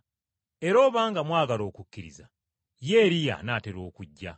Era obanga mwagala okukkiriza, ye Eriya anaatera okujja.